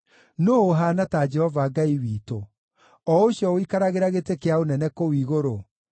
Nũũ ũhaana ta Jehova Ngai witũ, o Ũcio ũikaragĩra gĩtĩ kĩa ũnene kũu igũrũ,